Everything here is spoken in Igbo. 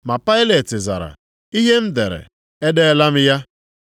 Ma Pailet zara, “Ihe m dere, edeela m ya.”